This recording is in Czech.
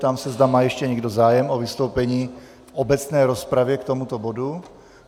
Ptám se, zda má ještě někdo zájem o vystoupení v obecné rozpravě k tomuto bodu.